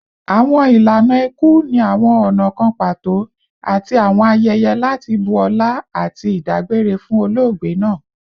Awọn ilana iku ni awọn ọna kan pato ati awọn ayẹyẹ lati bu ọla ati idagbere fun ologbe naa